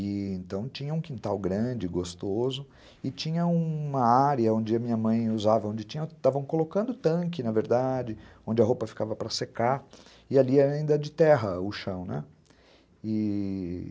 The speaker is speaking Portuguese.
Então, tinha um quintal grande, gostoso, e tinha uma área onde a minha mãe usava, onde estavam colocando tanque, na verdade, onde a roupa ficava para secar, e ali ainda era de terra o chão, né, e...